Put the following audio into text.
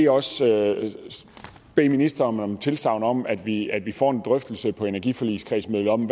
også bede ministeren om et tilsagn om at vi at vi får en drøftelse på mødet i energiforligskredsen om